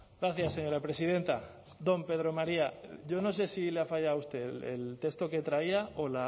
gracias señora presidenta don pedro maría yo no sé si le ha fallado a usted el texto que traía o